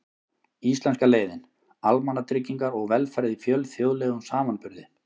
Íslenska leiðin: Almannatryggingar og velferð í fjölþjóðlegum samanburði.